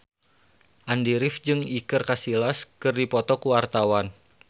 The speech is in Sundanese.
Andy rif jeung Iker Casillas keur dipoto ku wartawan